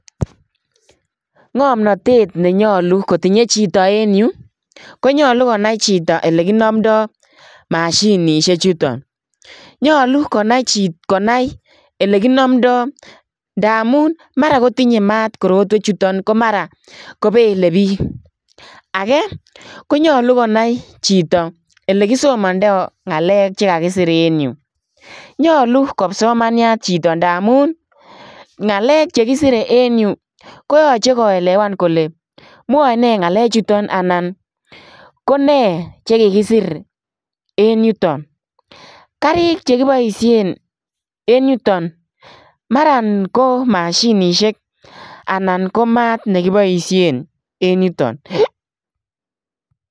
Ngamnatet ne nyaluu kotinyei chitoo en Yuu ii konyaluu konai chitoo ole kinamndai mashinisheek chutoon nyaluu konai ele kinamndai ndamuun mara kotinyei maat tuguuk chutoon ko mara kobele biik kora ko nyaluu konai elekisomandai ngalek chekakisir en Yuu nyaluu ko psomaniat chitoo ngalek che kisirei en Yuu koyachei koekewaan kole mwae nee ngaleek chutoon anan ko nee chekikisir en yutoon, garrik chekibaisheen en yutoon Mara ko mashinisheek anan ko maat nekibaisheen en yutoon.